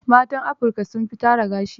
Matan Afirika sun fi tara gashi.